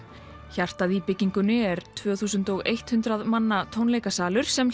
hjartað í byggingunni er tvö þúsund hundrað manna tónleikasalur sem